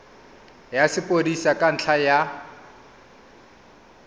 ya sepodisi ka ntlha ya